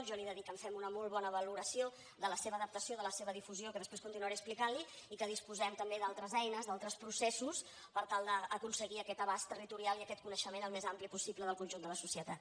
jo li he de dir que em sembla una molt bona valoració de la seva adaptació i de la seva difusió que després continuaré explicant li i que disposem també d’altres eines d’altres processos per tal d’aconseguir aquest abast territorial i aquest coneixement al més ampli possible del conjunt de la societat